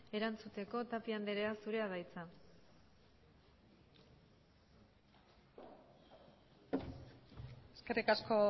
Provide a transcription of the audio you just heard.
erantzuteko tapia anderea zurea da hitza eskerrik asko